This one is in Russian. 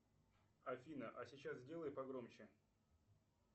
афина а сейчас сделай погромче